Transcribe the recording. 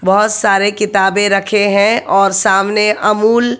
बहोत सारे किताबें रखे हैं और सामने अमूल --